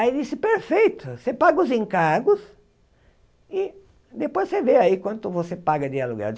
Aí ele disse, perfeito, você paga os encargos e depois você vê aí quanto você paga de aluguel.